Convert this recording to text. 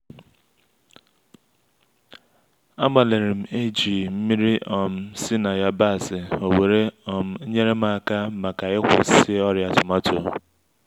agbalirim e-ji nmiri um si-na yabasị owere um yerem-aka maka ikwusi ọrịa tomato